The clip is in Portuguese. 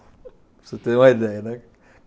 Para você ter uma ideia, né?